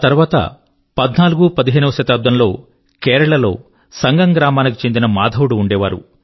తర్వాత పధ్నాలుగుపదిహేనవ శతాబ్దం లో కేరళ లో సంగం గ్రామాని కి చెందిన మాధవుడు ఉండేవారు